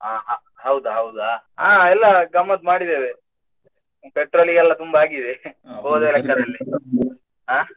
ಅಹ್ ಹೌದಾ ಹೌದಾ, ಹಾ ಎಲ್ಲ ಗಮ್ಮತ್ತ್ ಮಾಡಿದೇವೆ petrol ಗೆಲ್ಲ ತುಂಬಾ ಆಗಿದೆ ಹೋದ ಲೆಕ್ಕದಲ್ಲಿ.